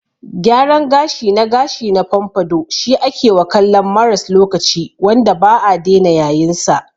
Gyaran gashi na gashi na pompadour shi akewa kallon maras lokaci wanda ba'a dena yayinsa.